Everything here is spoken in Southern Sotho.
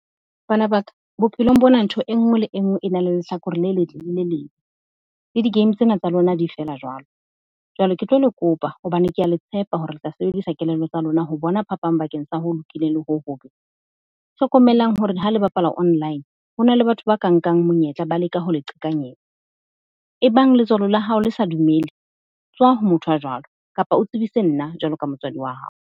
Bana ba ka bophelong bona, ntho e nngwe le e nngwe e na le lehlakore le le letle le le lebe. Le di-game tsena tsa lona di feela jwalo. Jwale ke tlo le kopa hobane ke a le tshepa hore le tla sebedisa kelello tsa lona ho bona phapang bakeng sa ho lokileng le ho hobe. Hlokomelang hore ha le bapala online, ho na le batho ba ka nkang monyetla ba leka ho le qhekanyetsa e bang letswalo la hao le sa dumele, tswa ho motho a jwalo kapa o tsebise nna jwalo ka motswadi wa hao.